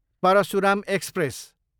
Parshuram express